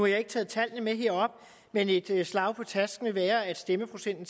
jeg ikke taget tallene med herop men et slag på tasken vil være at stemmeprocenten